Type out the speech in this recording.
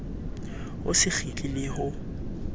o se kgitla le ho